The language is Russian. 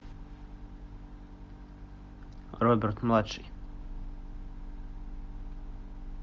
роберт младший